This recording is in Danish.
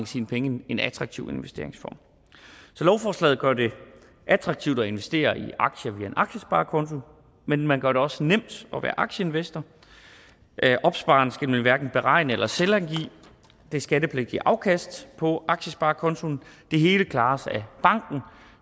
sine penge i en attraktiv investeringsform så lovforslaget gør det attraktivt at investere i aktier via en aktiesparekonto men man gør det også nemt at være aktieinvestor opspareren skal nemlig hverken beregne eller selvangive det skattepligtige afkast på aktiesparekontoen det hele klares af banken